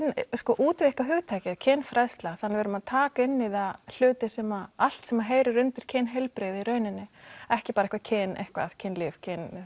að útvíkka hugtakið kynfræðsla þannig við erum að taka inn í það hluti sem allt sem heyrir undir kynheilbrigði í rauninni ekki bara kyn eitthvað kynlíf